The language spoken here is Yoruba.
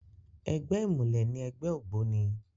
Ègbè imúlè ni ègbè ógbóni